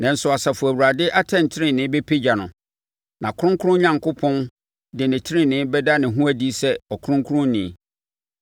nanso Asafo Awurade atɛntenenee bɛpagya no, na Kronkron Onyankopɔn de ne tenenee bɛda ne ho adi sɛ Ɔkronkronni.